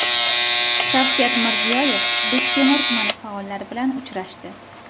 Shavkat Mirziyoyev Bektemir tumani faollari bilan uchrashdi.